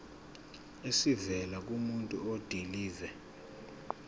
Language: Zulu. esivela kumuntu odilive